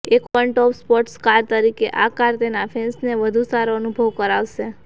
એક open top sports car તરીકે આ કાર તેના ફેન્સને વધુ સારો અનુભવ કરાવશે